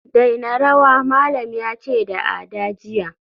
daina rawa, malam yace da Ada jiya